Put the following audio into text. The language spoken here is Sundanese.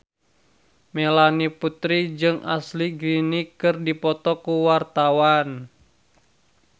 Melanie Putri jeung Ashley Greene keur dipoto ku wartawan